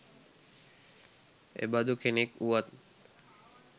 එබඳු කෙනෙක් වුනත්